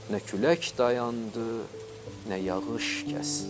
Nə külək dayandı, nə yağış kəsdi.